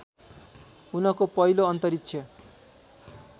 उनको पहिलो अन्तरिक्ष